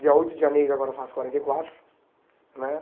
Dia oito de janeiro agora eu faço quarenta e quatro né.